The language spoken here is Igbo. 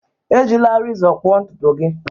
Ejila rezọ kpụọ ntutu gị